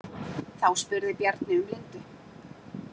Þá spurði Bjarni um Lindu.